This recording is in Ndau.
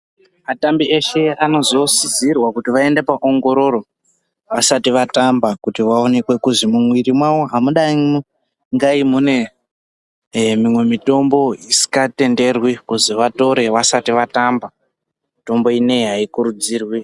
Atambi eshe anozosisirwa kuti vaende paongororo vasati vatamba kuti vaonekwe kuzwi mumwiri mwawo hamudaingai mune mimwemitombo isingatenderwi kuti vatore vasati vatamba mitombo ino iyi haikurudzirwi.